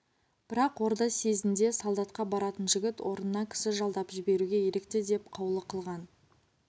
бірақ орда съезінде солдатқа баратын жігіт орнына кісі жалдап жіберуге ерікті деп қаулы қылған